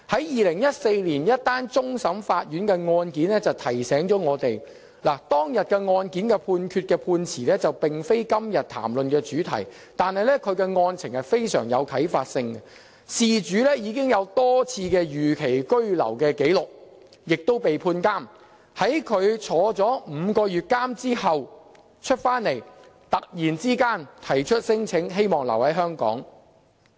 2014年一宗終審法院案件提醒了我們，雖然當日案件的判詞並非今天談論的主題，但其案情非常具啟發性，事主已有多次逾期居留紀錄並被判監禁，在他被監禁5個月出來後，突然提出聲請，希望留在香港。